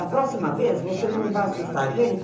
Da próxima vez, você não vai assustar a gente.